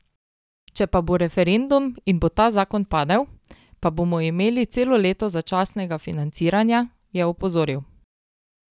Če pa bo referendum in bo ta zakon padel, pa bomo imeli celo leto začasnega financiranja, je opozoril.